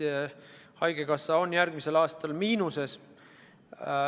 Järgmisel aastal on haigekassa miinuses.